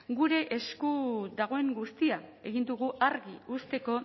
gure esku dagoen guztia egin dugu argi uzteko